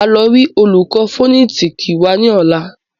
Máa lọ rí olùkọ́ fònẹ́tìkì wa ní ọ̀la